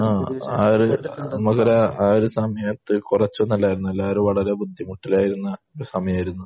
ആ. ആ ഒരു നമ്മുക്കൊരു ആ ഒരു സമയത്ത് കുറച്ചൊന്നും അല്ല എല്ലാവരും വളരെ ബുദ്ധിമുട്ടിലായിരുന്ന ഒരു സമയമായിരുന്നു.